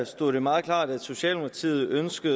stod det meget klart at socialdemokratiet ønsker